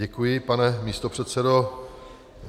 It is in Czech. Děkuji, pane místopředsedo.